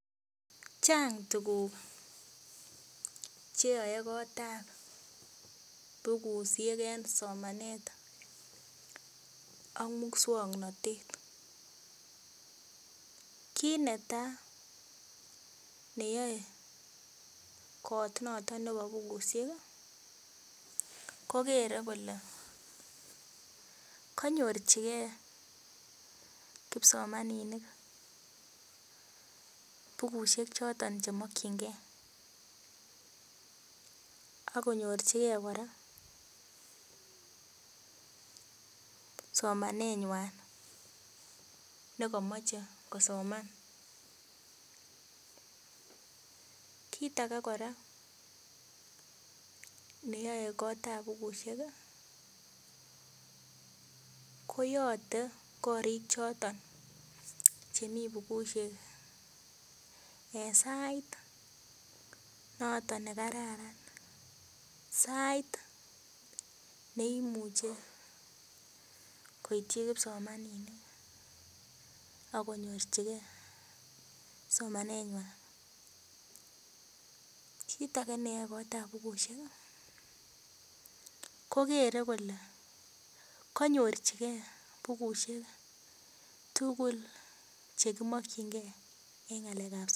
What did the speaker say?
Chang tuguk cheyoe kotab bukusiek en somanet ak muswongnotet kit netaa neyoe kot noton nebo bukusiek ih kokere kole konyorchigee kipsomaninik bukusiek choton chemokyingee ak konyorchigee kora somanet nywan nekomoche kosoman kit age kora neyoe kotab bukusiek ko yote korik choton chemii bukusiek en sait noton nekararan sait neimuche koityi kipsomaninik ako nyorchingee somanet nywan kit age neyoe kotab bukusiek ih kokere kole konyorchigee bukusiek tugul chekimokyingee en ng'alek ab somanet